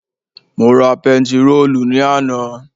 Mo ra pentiróòlù ní àná